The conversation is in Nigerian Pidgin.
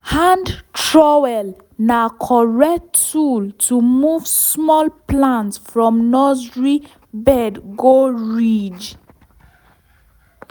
hand trowel na correct tool to move small plant from nursery bed go ridge.